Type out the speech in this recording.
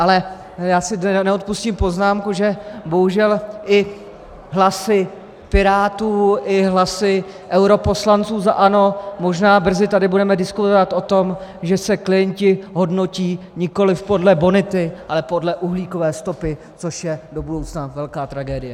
Ale já si neodpustím poznámku, že bohužel i hlasy Pirátů, i hlasy europoslanců za ANO možná tady brzy budeme diskutovat o tom, že se klienti hodnotí nikoliv podle bonity, ale podle uhlíkové stopy, což je do budoucna velká tragédie.